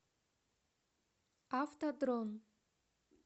авто дрон